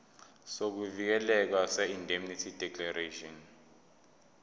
sokuvikeleka seindemnity declaration